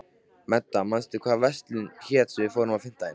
Meda, manstu hvað verslunin hét sem við fórum í á fimmtudaginn?